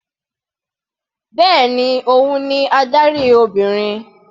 Bẹ́ẹ̀ni, òun ni adarí Obìnrin.